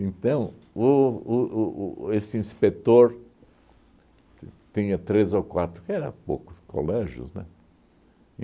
Então, o o o o esse inspetor que tinha três ou quatro, porque era poucos colégios, né?